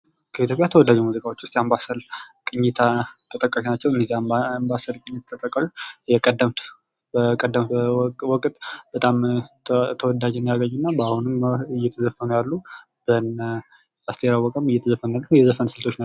ከኢትዮጵያ ተወዳጅ ሙዚቃዎች ዉስጥ የአንባሰል ቅኝት ተጠቃሽ ናቸዉ። እነዚህ አባሰል ቅኝት የቀደምት ወቅት በጣም ተወዳጅነትን ያገኙ እና በአሁኑ እየተዘፈኑ ያሉ በእነ አሰሰቴር አወቀ እየተዘፈኑ ያሉ የዘፈን ስልት ናቸዉ።